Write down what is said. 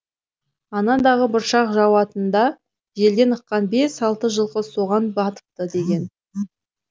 анадағы бұршақ жауатында желден ыққан бес алты жылқы соған батыпты деген